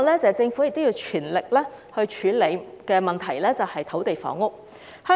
政府要全力處理的另一個問題，是土地房屋。